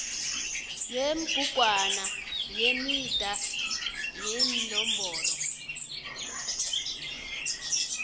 yebhugwana yemidana yeenomboro